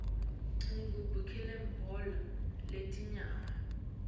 ngibukela libhola letinyawo